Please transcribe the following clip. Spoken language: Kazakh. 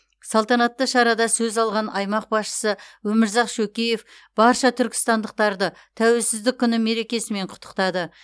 салтанатты шарада сөз алған аймақ басшысы өмірзақ шөкеев барша түркістандықтарды тәуелсіздік күні мерекесімен құттықтады